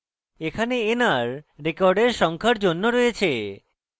এখানে nr records সংখ্যার জন্য রয়েছে